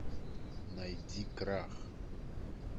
найди крах